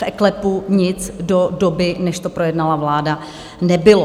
V eKLEPu nic do doby, než to projednala vláda, nebylo.